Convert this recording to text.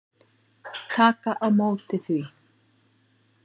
Taka á móti því.